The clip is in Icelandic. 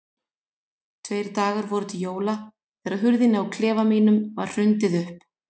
Tveir dagar voru til jóla þegar hurðinni á klefa mínum var hrundið upp.